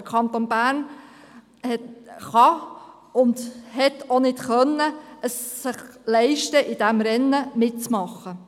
Der Kanton Bern kann und konnte es sich nicht leisten, in diesem Rennen mitzumachen.